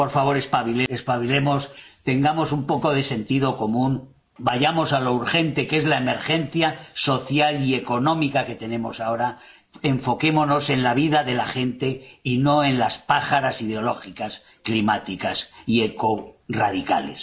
Por favor, espabilemos, tengamos un poco de sentido común, vayamos a lo urgente, que es la emergencia social y económica que tenemos ahora, enfoquémonos en la vida de la gente y no en las pájaras ideológicas, climáticas y ecorradicales.